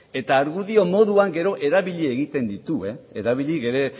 eta argudio moduan gero erabili egiten ditu erabili ere